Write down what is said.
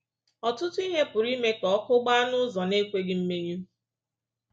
Ọtụtụ ihe pụrụ ime ka ọkụ gbaa n’ụzọ na-ekweghị mmenyụ.